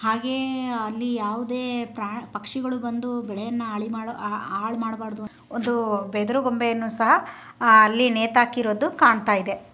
ಹಾಗೆಯೇ ಅಲ್ಲಿ ಯಾವುದೇ ಪ್ರಾಣಿ ಪಕ್ಷಿಗಳು ಬಂದು ಬೆಳೆಯನ್ನ ಹಾಳುಮಾಡು ಹಾಳುಮಾಡಬಾರದು ಅಂತ ಒಂದು ಬೆದರು ಬೊಂಬೆಯನ್ನು ಸಹ ಅಲ್ಲಿ ನೇತಾಕಿರೋದು ಕಾಣ್ತಾಯಿದೆ.